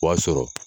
O y'a sɔrɔ